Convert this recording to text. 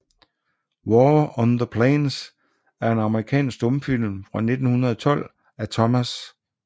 War on the Plains er en amerikansk stumfilm fra 1912 af Thomas H